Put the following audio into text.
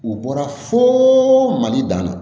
U bɔra fo mali dan na